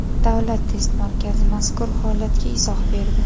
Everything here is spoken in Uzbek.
Davlat test markazi mazkur holatga izoh berdi .